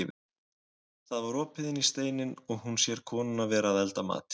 Það var opið inn í steininn og hún sér konuna vera að elda matinn.